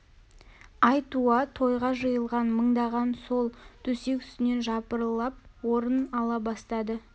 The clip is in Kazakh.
ай туа тойға жиылған мыңдаған сол төсек үстінен жапырлап орын ала бастады